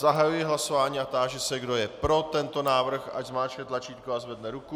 Zahajuji hlasování a táži se, kdo je pro tento návrh, ať zmáčkne tlačítko a zvedne ruku.